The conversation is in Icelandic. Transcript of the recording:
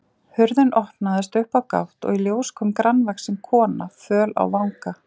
Hurðin opnaðist upp á gátt og í ljós kom grannvaxin kona, föl á vanga.